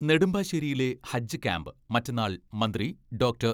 നെടുമ്പാശ്ശേരിയിലെ ഹജ്ജ് ക്യാംപ് മറ്റന്നാൾ മന്ത്രി ഡോക്ടർ